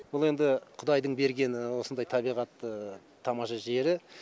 бұл енді құдайдың бергені осындай табиғаты тамаша жері